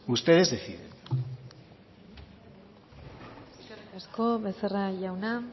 ustedes deciden eskerrik asko becerra jauna